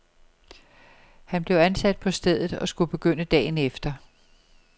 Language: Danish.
Han blev ansat på stedet og skulle begynde dagen efter.